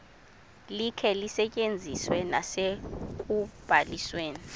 likhe lisetyenziswe nasekubalisweni